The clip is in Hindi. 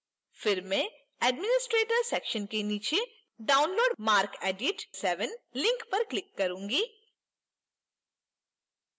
फिर मैं administrator section के नीचे download marcedit 7 link पर click करूंगी